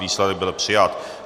Výsledek byl přijat.